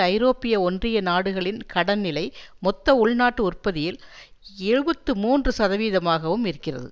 ஐரோப்பிய ஒன்றிய நாடுகளின் கடன்நிலை மொத்த உள்நாட்டு உற்பதியில் எழுபத்து மூன்று சதவீதமாகவும் இருக்கிறது